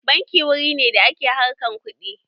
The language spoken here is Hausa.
Banki wuri ne da ake harkan kuɗi